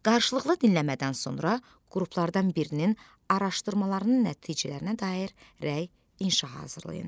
Qarşılıqlı dinləmədən sonra qruplardan birinin araşdırmalarının nəticələrinə dair rəy inşah hazırlayın.